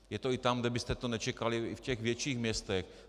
Je to i tam, kde byste to nečekali, i v těch větších městech.